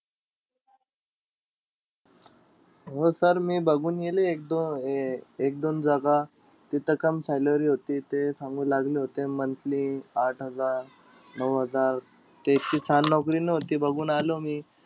हो sir मी बघून गेलोय एक दोन अह एक-दोन जागा. तिथं काम salary होती. ते सांगू लागले होते monthly आठ हजार-नऊ हजार. ती इतकी छान नोकरी नव्हती, बघून आलो मी.